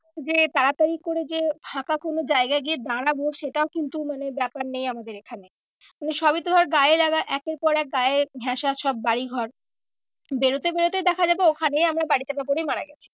যে তাড়াতাড়ি করে যে ফাঁকা কোনো জায়গায় গিয়ে দাঁড়াবো সেটাও কিন্তু মানে ব্যাপারটা নেই আমাদের এখানে মানে সবই তো ধর গায়ে লাগা একের পর এক গায়ে ঘ্যাসা সব বাড়িঘর বেরোতে বেরোতে দেখা যাবে ওখানেই আমরা বাড়ি চাপা পরেই মারা গেছি।